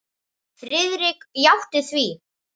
Friðrik játti því.